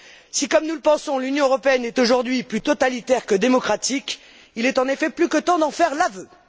Si, comme nous le pensons, l'Union européenne est aujourd'hui plus totalitaire que démocratique, il est en effet plus que temps d'en faire l'aveu.